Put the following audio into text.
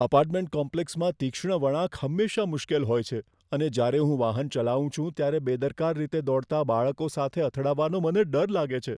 Apartment કોમ્પ્લેક્સમાં તીક્ષ્ણ વળાંક હંમેશા મુશ્કેલ હોય છે અને જ્યારે હું વાહન ચલાવું છું ત્યારે બેદરકાર રીતે દોડતા બાળકો સાથે અથડાવાનો મને ડર લાગે છે.